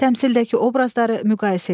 Təmsildəki obrazları müqayisə edin.